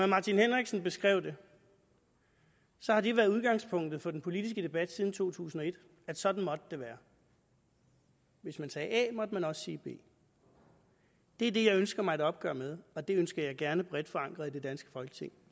martin henriksen beskrev det har det været udgangspunktet for den politiske debat siden to tusind og et at sådan måtte det være hvis man sagde a måtte man også sige b det er det jeg ønsker mig et opgør med og det ønsker jeg gerne bredt forankret i det danske folketing